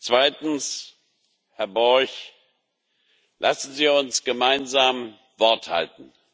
Zweitens, Herr Borg Lassen Sie uns gemeinsam Wort halten.